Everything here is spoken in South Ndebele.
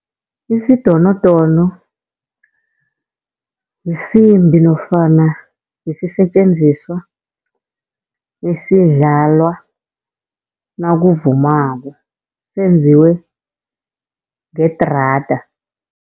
Isidonodono, yisimbi nofana yisisetjenziswa esidlalwa nakuvumwako senziwe ngedrada.